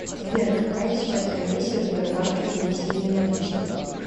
сбер какая сейчас комиссия в сбербанке за внесение наличных